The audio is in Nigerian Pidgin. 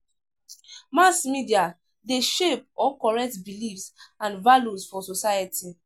Mass media de shape or correct beliefs and values for society